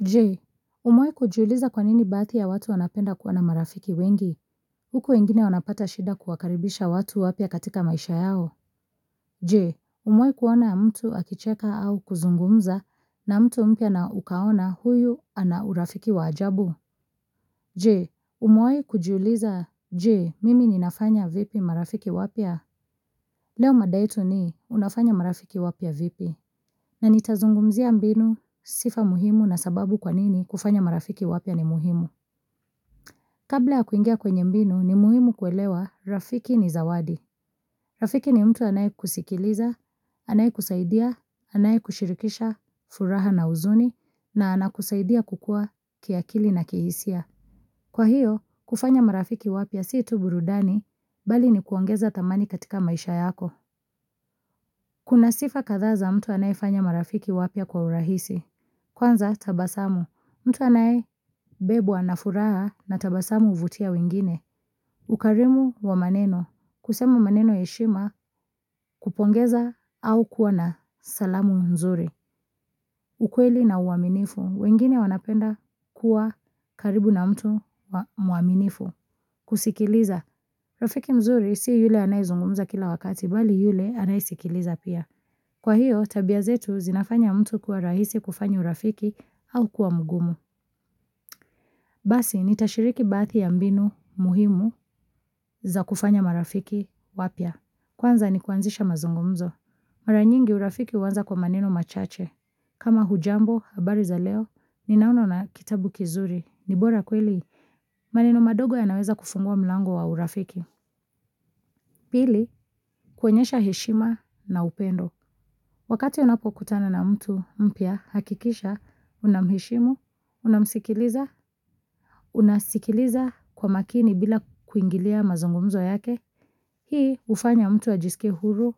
Jee, umewahi kujiuliza kwanini baadhi ya watu wanapenda kuwa na marafiki wengi? Huku wengine wanapata shida kuwakaribisha watu wapya katika maisha yao? Jee, umewahi kuona mtu akicheka au kuzungumza na mtu mpya na ukaona huyu ana urafiki wa ajabu? Jee, umewahi kujuliza, jee, mimi ninafanya vipi marafiki wapya? Leo mada yetu ni unafanya marafiki wapya vipi, na nitazungumzia mbinu sifa muhimu na sababu kwanini kufanya marafiki wapya ni muhimu. Kabla ya kuingia kwenye mbinu ni muhimu kuelewa, rafiki ni zawadi. Rafiki ni mtu anaye kusikiliza, anaye kusaidia, anaye kushirikisha furaha na uzuni, na anakusaidia kukua kiakili na kihisia. Kwa hiyo, kufanya marafiki wapya si tuu burudani, mbali ni kuongeza thamani katika maisha yako. Kuna sifa kadhaa za mtu anayefanya marafiki wapya kwa urahisi. Kwanza tabasamu. Mtu anaye bebwa na furaha na tabasamu huvutia wengine. Ukarimu wa maneno. Kusemu maneno ya heshima kupongeza au kuwa na salamu mzuri. Ukweli na uaminifu. Wengine wanapenda kuwa karibu na mtu mwaminifu. Kusikiliza. Rafiki mzuri si yule anaye zungumza kila wakati mbali yule anaye sikiliza pia. Kwa hiyo, tabia zetu zinafanya mtu kuwa rahisi kufanya urafiki au kuwa mgumu. Basi, nitashiriki baadhi ya mbinu muhimu za kufanya marafiki wapya. Kwanza ni kuanzisha mazungumzo. Maranyingi urafiki huanza kwa maneno machache. Kama hujambo, habari za leo, ninaona una kitabu kizuri. Nibora kweli, maneno madogo yanaweza kufungua mlango wa urafiki. Pili, kuonyesha heshima na upendo. Wakati unapo kutana na mtu mpya hakikisha, unamuheshimu, unamsikiliza, unasikiliza kwa makini bila kuingilia mazungumzo yake. Hii hufanya mtu ajisikie huru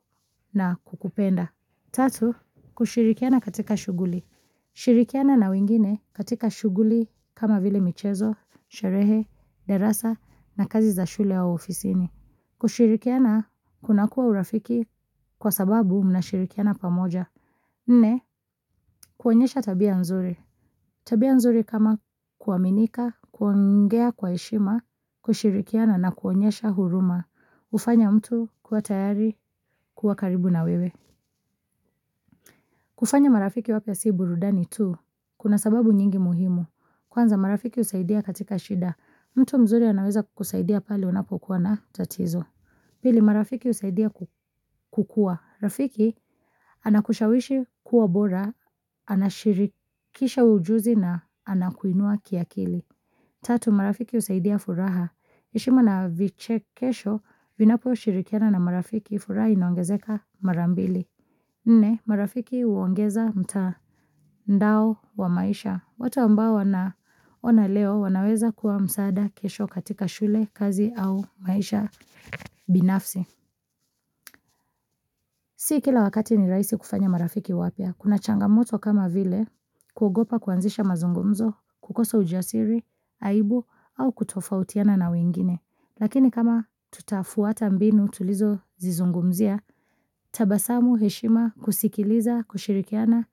na kukupenda. Tatu, kushirikiana katika shughuli. Shirikiana na wengine katika shughuli kama vile michezo, sherehe, darasa na kazi za shule au ofisini. Kushirikiana kuna kuwa urafiki kwa sababu mnashirikiana pamoja. Nne, kuonyesha tabia nzuri. Tabia nzuri kama kuaminika, kuongea kwa heshima, kushirikiana na kuonyesha huruma. Hufanya mtu kuwa tayari, kuwa karibu na wewe. Kufanya marafiki wapya si burudani tu kuna sababu nyingi muhimu, kwanza marafiki husaidia katika shida, mtu mzuri anaweza kukusaidia pale unapokuwa na tatizo. Pili, marafiki husaidia kukua, rafiki anakushawishi kuwa bora, anashirikisha ujuzi na anakuinua kiakili. Tatu, marafiki husaidia furaha, heshima na vichekesho, vinapo shirikiana na marafiki, furaha inoangezeka marambili. Nne, marafiki huongeza mtandao wa maisha. Watu ambao unwaona leo wanaweza kuwa msaada kesho katika shule, kazi au maisha binafsi. Si kila wakati ni rahisi kufanya marafiki wapya. Kuna changamoto kama vile, kugopa kuanzisha mazungumzo, kukosa ujasiri, aibu, au kutofautiana na wengine. Lakini kama tutafuata mbinu tulizo zizungumzia, tabasamu heshima kusikiliza, kushirikiana,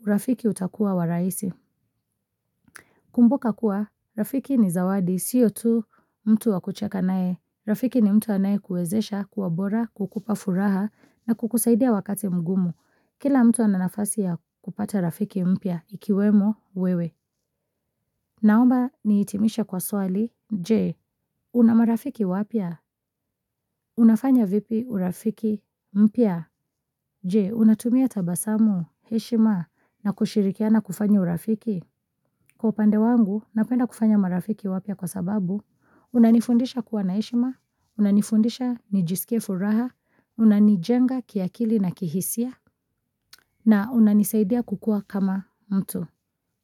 urafiki utakuwa wa rahisi. Kumbuka kuwa, urafiki ni zawadi, siyo tu mtu wakucheka nae. Urafiki ni mtu anae kuezesha, kuwa bora, kukupa furaha na kukusaidia wakati mgumu. Kila mtu ana nafasi ya kupata rafiki mpya, ikiwemo wewe. Naomba niitimishe kwa swali, jee una marafiki wapya? Unafanya vipi urafiki mpya? Je, unatumia tabasamu, heshima na kushirikiana kufanya urafiki? Kwa upande wangu, napenda kufanya marafiki wapya kwa sababu, unanifundisha kuwa na heshima, unanifundisha nijisikie furaha, unanijenga kiakili na kihisia, na unanisaidia kukua kama mtu.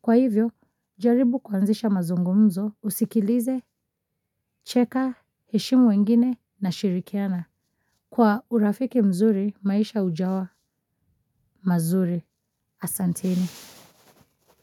Kwa hivyo, jaribu kuanzisha mazungumzo usikilize, cheka, heshimu wengine na shirikiana. Kwa urafiki mzuri, maisha ujawa, mazuri, asanteni.